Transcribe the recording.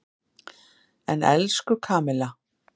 En, elsku Kamilla.